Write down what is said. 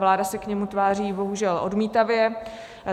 Vláda se na něj tváří bohužel odmítavě.